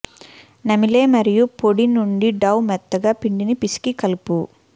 నమిలే మరియు పొడి నుండి డౌ మెత్తగా పిండిని పిసికి కలుపు